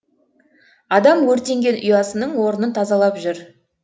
адам өртенген ұясының орнын тазалап жүр